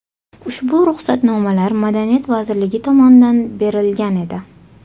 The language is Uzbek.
Ushbu ruxsatnomalar Madaniyat vazirligi tomonidan berilgan edi.